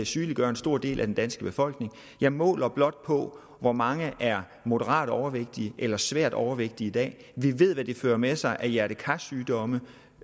sygeliggøre en stor del af den danske befolkning jeg måler blot hvor mange der er moderat overvægtige eller svært overvægtige i dag vi ved hvad det fører med sig af hjerte kar sygdomme